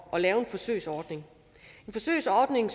at lave en forsøgsordning en forsøgsordning